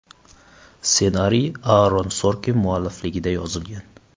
Ssenariy Aaron Sorkin muallifligida yozilgan.